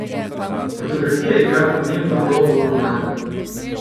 Fotografija igra pomembno vlogo v romanu.